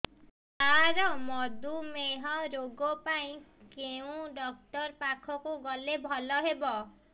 ସାର ମଧୁମେହ ରୋଗ ପାଇଁ କେଉଁ ଡକ୍ଟର ପାଖକୁ ଗଲେ ଭଲ ହେବ